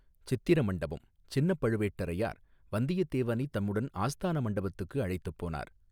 சித்திர மண்டபம் சின்னப் பழுவேட்டரையார் வந்தியத்தேவனைத் தம்முடன் ஆஸ்தான மண்டபத்துக்கு அழைத்துப் போனார்.